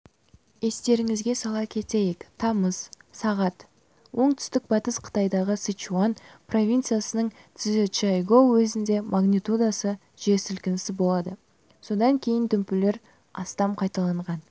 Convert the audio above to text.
естеріңізге сала кетейік тамыз сағат оңтүстік-батыс қытайдағы сычуань провинциясының цзючжайгоу уезінде магнитудасы жер сілкінісі болды содан кейін дүмпулер астам қайталанған